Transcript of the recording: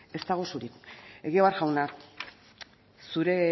ez dago surik egibar jauna zure